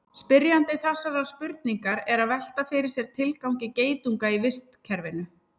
spyrjandi þessarar spurningar er að velta fyrir sér tilgangi geitunga í vistkerfinu